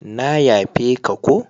Na yafe ka ko.